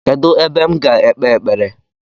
Kedụ ebe m ga ekpe ekpere?